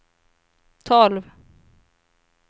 tolv